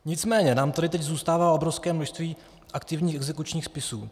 Nicméně nám tady teď zůstává obrovské množství aktivních exekučních spisů.